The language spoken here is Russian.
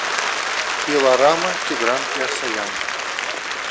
пилорама тигран кеосаян